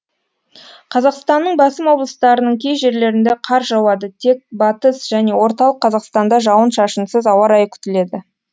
қазақстанның басым облыстарының кей жерлерінде қар жауады тек батыс және орталық қазақстанда жауын шашынсыз ауа райы күтіледі